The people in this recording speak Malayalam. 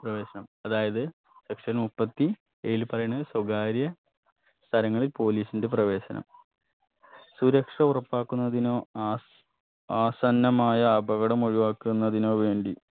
പ്രവേശം അതായത് section മുപ്പത്തി ഏഴിൽ പറയണത് സ്വകാര്യ സ്ഥലങ്ങളിൽ police ന്റെ പ്രവേശനം സുരക്ഷ ഉറപ്പാക്കുന്നതിനോ ആസ് ആസന്നമായ അപകടം ഒഴിവാക്കുന്നതിനോ വേണ്ടി